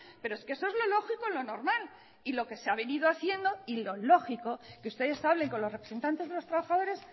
pero es que eso es lo lógico lo normal y lo que se ha venido haciendo y lo lógico que ustedes hablen con los representantes de los trabajadores